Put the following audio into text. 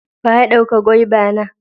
Wa ya dauka gwaiva na?